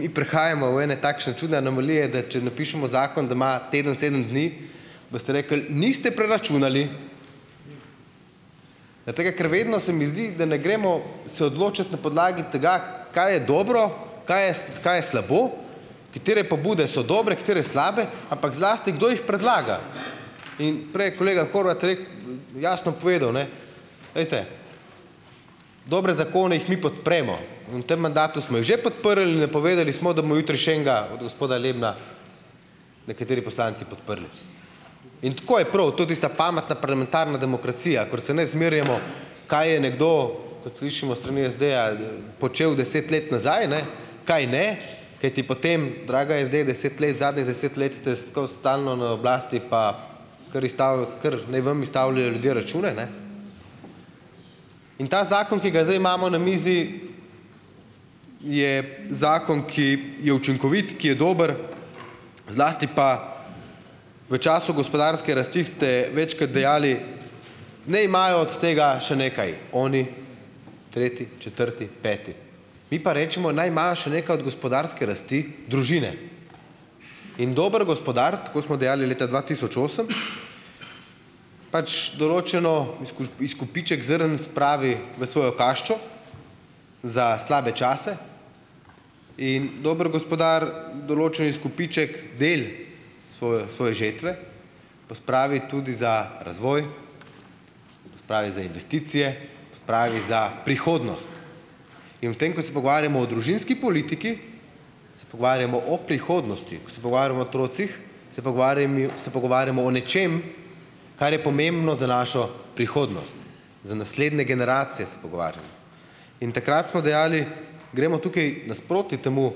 Mi prihajamo v ene takšne čudne anomalije, da če napišemo zakon, da ima teden sedem dni, boste rekli: "Niste preračunali." Zaradi tega, ker vedno se mi zdi, da ne gremo se odločat na podlagi tega, kaj je dobro, kaj je, kaj je slabo, katere pobude so dobre, katere slabe, ampak zlasti, kdo jih predlaga. In prej je kolega Horvat rekel, jasno povedal, ne: "Glejte, dobre zakone jih mi podpremo in v tem mandatu smo jih že podprli in napovedali smo, da bomo jutri še enega od gospoda Lebna nekateri poslanci podprli." In tako je prav, to je tista pametna parlamentarna demokracija, kakor se ne zmerjamo, kaj je nekdo, kot slišimo s strani SD-ja, počel deset let nazaj, ne, kaj ne. Kajti potem, draga SD, deset let, zadnjih deset let ste skozi, stalno na oblasti, pa ker izstavi, kar naj vam izstavljajo ljudje račune, ne? In ta zakon, ki ga zdaj imamo na mizi, je zakon, ki je učinkovit, ki je dober, zlasti pa, v času gospodarske rasti ste večkrat dejali: "Naj imajo od tega še nekaj oni, tretji, četrti, peti." Mi pa rečemo: "Naj imajo še nekaj od gospodarske rasti družine." In dober gospodar, tako smo dejali leta dva tisoč osem, pač določeno, izkupiček zrn spravi v svojo kaščo za slabe čase in dober gospodar določen izkupiček, del svojo, svoje žetve pospravi tudi za razvoj, pospravi za investicije, pospravi za prihodnost. In v tem, ko se pogovarjamo o družinski politiki, se pogovarjamo o prihodnosti, ko se pogovarjamo o otrocih, se pogovarjami, se pogovarjamo o nečem, kar je pomembno za našo prihodnost, za naslednje generacije se pogovarjamo. In takrat smo dejali: "Gremo tukaj nasproti temu,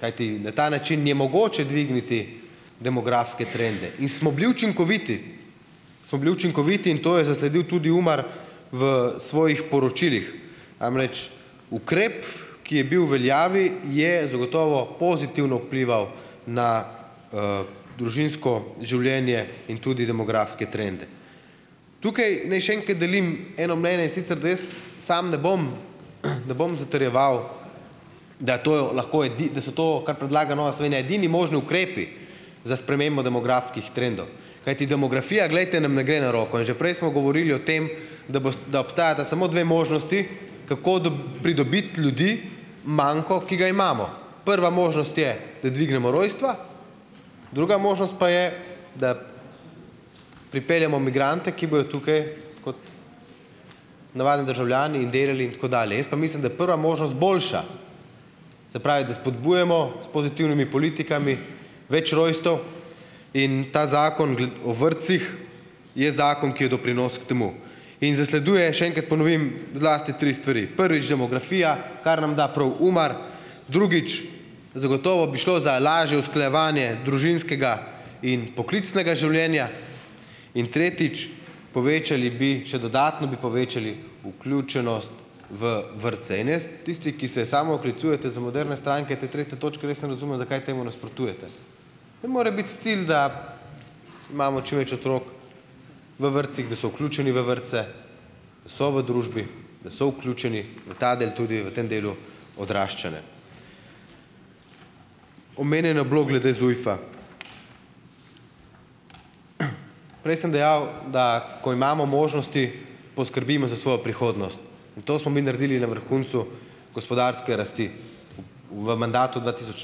kajti na ta način je mogoče dvigniti demografske trende." In smo bili učinkoviti, smo bili učinkoviti in to je zasledil tudi UMAR v svojih poročilih. Namreč ukrep, ki je bil v veljavi, je zagotovo pozitivno vplival na, družinsko življenje in tudi demografske trende. Tukaj ni še enkrat delim eno mnenje, in sicer, da jaz samo ne bom, ne bom zatrjeval, da to lahko da so to, kar predlaga Nova Slovenija, edini možni ukrepi za spremembo demografskih trendov, kajti demografija, glejte, nam ne gre na roko. In že prej smo govorili o tem, da bosta, da obstajata samo dve možnosti, kako pridobiti ljudi, manko, ki ga imamo. Prva možnost je, da dvignemo rojstva, druga možnost pa je, da pripeljemo migrante, ki bojo tukaj kot navadni državljani in delali in tako dalje. Jaz pa mislim, da prva možnost boljša, se pravi, da spodbujamo s pozitivnimi politikami več rojstev in ta zakon o vrtcih, je zakon, ki je doprinos k temu. In zasleduje, še enkrat ponovim, zlasti tri stvari. Prvič - demografija, kar nam da prav UMAR, drugič, zagotovo bi šlo za lažje usklajevanje družinskega in poklicnega življenja in tretjič, povečali bi, še dodatno bi povečali vključenost v vrtce. In jaz ... tisti, ki se samooklicujete za moderne stranke, te tretje točke res ne razumem, zakaj temu nasprotujete. Nam mora biti cilj, da imamo čim več otrok v vrtcih, da so vključeni v vrtce, da so v družbi, da so vključeni v ta del tudi v tem delu odraščanja. Omenjeno je bilo glede ZUJF-a. Prej sem dejal, da ko imamo možnosti, poskrbimo za svojo prihodnost in to smo mi naredili na vrhuncu gospodarske rasti v mandatu dva tisoč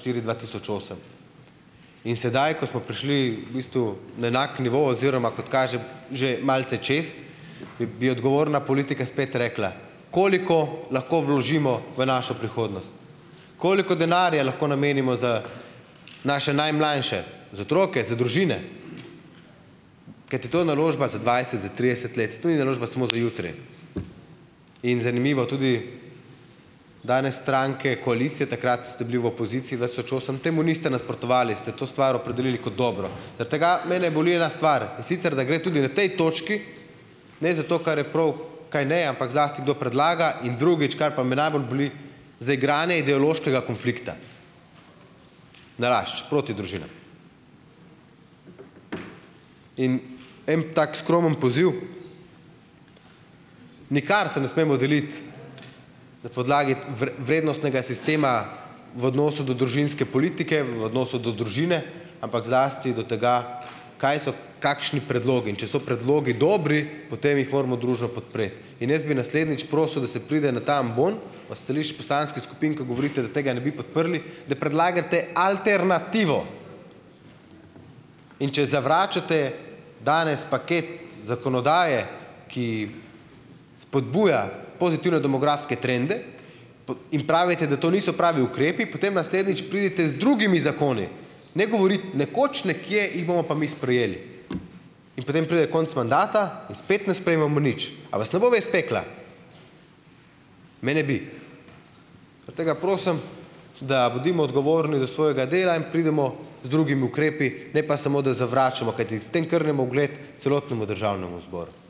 štiri-dva tisoč osem. In sedaj, ko smo prišli v bistvu na enak nivo, oziroma kot kaže že malce čez, bi, bi odgovorna politika spet rekla: "Koliko lahko vložimo v našo prihodnost? Koliko denarja lahko namenimo z naše najmlajše, za otroke, za družine?" Kajti to je naložba za dvajset, za trideset let, to ni naložba samo za jutri in zanimivo tudi danes stranke koalicije, takrat ste bili v opoziciji dva tisoč osem, temu niste nasprotovali, ste to stvar opredelili kot dobro, zaradi tega mene boli ena stvar, in sicer, da gre tudi v tej točki, ne zato, kar je prav, kaj ne, ampak zlasti, kdo predlaga in drugič, kar me pa najbolj boli, zaigranje ideološkega konflikta, nalašč, proti družinam. In en tak skromen poziv, nikar se ne smemo deliti na podlagi vrednostnega sistema v odnosu do družinske politike, v odnosu do družine, ampak zlasti do tega, kaj so kakšni predlogi, in če so predlogi dobri, potem jih moramo družno podpreti. In jaz bi naslednjič prosil, da se pride na ta ambon od stališč poslanskih skupin, ko govorite, da tega ne bi podprli, da predlagate alternativo, in če zavračate danes paket zakonodaje, ki spodbuja pozitivne demografske trende, in pravite, da to niso pravi ukrepi, potem naslednjič pridite z drugimi zakoni. Ne govoriti, nekoč, nekje jih bomo pa mi sprejeli in potem pride konec mandata in spet ne sprejmemo nič. A vas ne bo vest pekla? Mene bi. Zaradi tega prosim, da bodimo odgovorni do svojega dela in pridemo z drugimi ukrepi, ne pa samo, da zavračamo. Kajti s tem krnimo ugled celotnemu državnemu zboru.